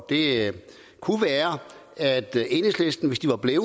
det kunne være at enhedslisten hvis de var blevet